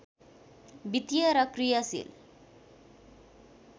वित्तीय र क्रियाशील